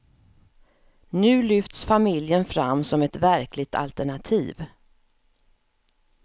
Nu lyfts familjen fram som ett verkligt alternativ.